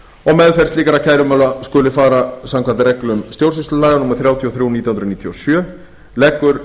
og meðferð slíkra kærumála skuli fara samkvæmt reglum stjórnsýslulaga númer þrjátíu og þrjú nítján hundruð níutíu og sjö leggur